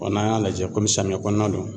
n'an y'a lajɛ komi samiya kɔnɔna don